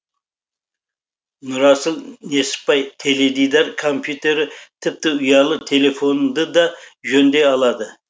нұрасыл несіпбай теледидар компьютері тіпті ұялы телефонды да жөндей алады